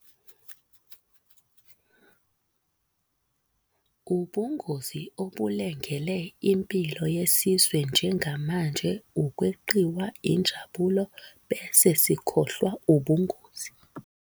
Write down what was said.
Ubungozi obulengele impilo yesizwe njengamanje ukweqiwa injabulo bese sikhohlwa ubungozi.